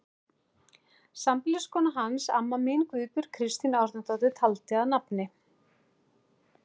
Sambýliskona hans, amma mín, Guðbjörg Kristín Árnadóttir, taldi að nafni